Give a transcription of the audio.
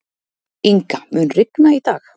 Inga, mun rigna í dag?